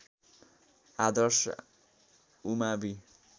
आदर्श उमावि